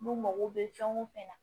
N'u mago bɛ fɛn o fɛn na